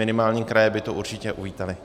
Minimálně kraje by to určitě uvítaly.